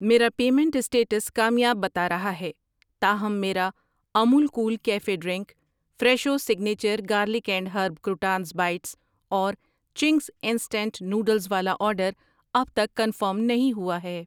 میرا payment status کامیاب بتا رہا ہے، تاہم میرا Amul cool cafe drink, Fresho signature garlic and herb croutons bites اور چنگز انسٹنٹ نوڈلز والا آرڈر اب تک کنفرم نہیں ہوا ہے۔